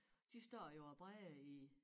De står jo og bræger i